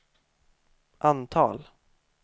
antal